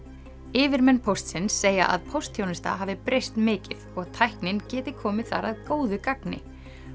yfirmenn póstsins segja að póstþjónusta hafi breyst mikið og tæknin geti komið þar að góðu gagni